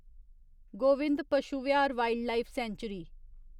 Govind Pashu Vihar wildlife sanctuary